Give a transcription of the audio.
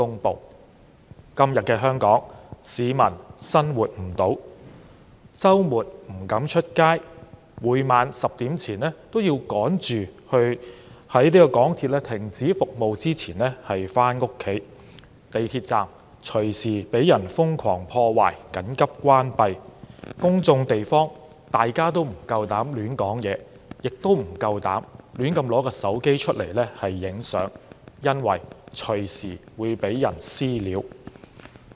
在今天的香港，市民生活不了，周末不敢外出，每晚要趕在10時港鐵停止服務前回家，地鐵站隨時會被人瘋狂破壞而緊急關閉，大家不敢在公眾地方說話，亦不敢隨便用手提電話拍攝，因為隨時會被"私了"。